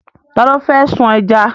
Ta ló fẹ́ sun ẹja?